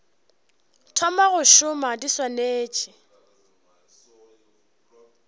thoma go šoma di swanetše